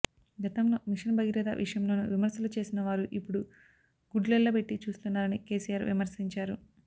గతంలో మిషన్ భగీరథ విషయంలోనూ విమర్శలు చేసిన వారు ఇప్పుడు గుడ్లెళ్లబెట్టి చూస్తున్నారని కేసీఆర్ విమర్శించారు